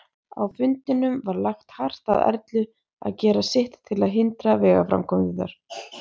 Á fundinum var lagt hart að Erlu að gera sitt til að hindra vegaframkvæmdirnar.